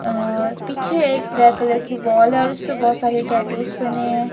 पीछे एक black colour की वाल है उसे पर बहोत सारे टैटूज बने हैं।